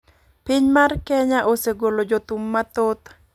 Piny mar kenya osegolo jothum mathoth.